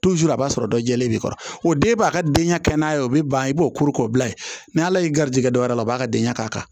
a b'a sɔrɔ dɔ jɛlen bɛ i kɔrɔ o den b'a ka denɲana ye o bɛ ban i b'o koro k'o bila yen n' ala ye garijɛgɛ dɔ wɛrɛ a b'a ka denɲ'a kan